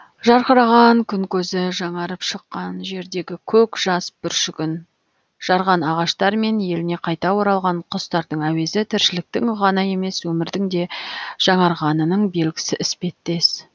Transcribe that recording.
жарқыраған күн көзі жаңарып шыққан жердегі көк жас бүршігін жарған ағаштар мен еліне қайта оралған құстардың әуезі тіршіліктің ғана емес өмірдің де жаңарғанының белгісі іспеттес